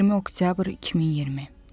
20 oktyabr 2020.